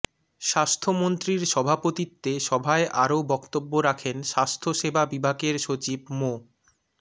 স্বাস্থ্যমন্ত্রীর সভাপতিত্বে সভায় আরও বক্তব্য রাখেন স্বাস্থ্যসেবা বিভাগের সচিব মো